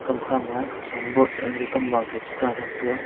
kamkha ma khesan bod ale kamba ka chu ta thram taiga.